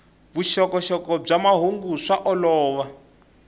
vuxokoxoko bya mahungu swa olova